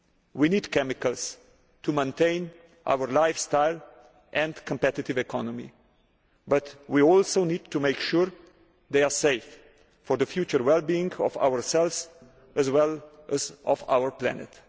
We need chemicals to maintain our lifestyle and competitive economy, but we also need to make sure they are safe for the future well being of ourselves, as well as of our planet.